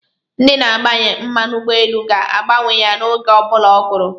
Ndi na-agbanye mmanụ ugboelu ga-agbanye ya oge obula o guru